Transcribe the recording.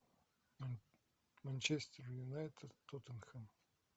манчестер юнайтед тоттенхэм